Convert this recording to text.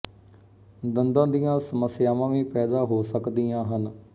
ਦੰਦਾਂ ਦੀਆਂ ਸਮੱਸਿਆਵਾਂ ਵੀ ਪੈਦਾ ਹੋ ਸਕਦੀਆਂ ਹਨ